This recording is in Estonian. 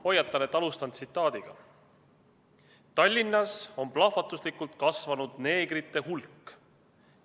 Hoiatan, et alustan tsitaadiga: "Tallinnas on plahvatuslikult kasvanud neegrite hulk.